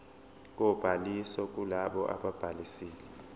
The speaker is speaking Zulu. kobhaliso kulabo ababhalisile